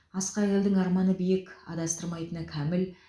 асқақ елдің арманы биік адастырмайтыны кәміл